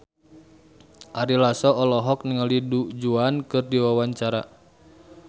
Ari Lasso olohok ningali Du Juan keur diwawancara